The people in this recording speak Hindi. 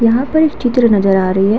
यहां पर एक चित्र नजर आ रही है।